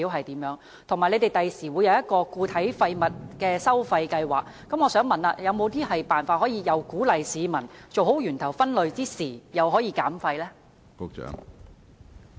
此外，當局將來會推出一項都市固體廢物收費計劃，我想問有沒有一些辦法既可以鼓勵市民做好源頭分類，又可以減廢呢？